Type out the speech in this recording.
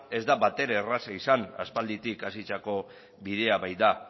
ez da batere erraza izan aspalditik hasitako bidea baita